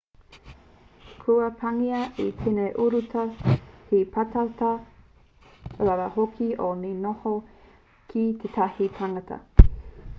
kua pāngia e tēnei urutā he pātata rawa hoki nō te noho ki tētahi tangata